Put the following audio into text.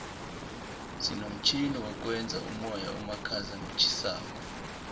sinomtjhini wokwenza umoya omakhaza notjhisako